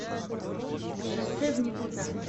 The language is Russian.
шоссе в никуда